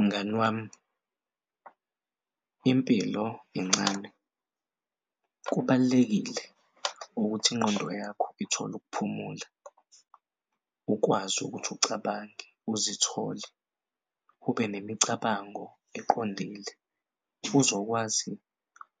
Mngani wami impilo incane kubalulekile ukuthi ingqondo yakho ithole ukuphumula ukwazi ukuthi ucabange uzithole ube nemicabango eqondile. Uzokwazi